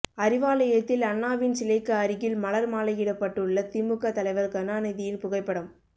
அறிவாலயத்தில் அண்ணாவின் சிலைக்கு அருகில் மலர் மாலையிடப்பட்டுள்ள திமுக தலைவர் கருணாநிதியின் புகைப்படம்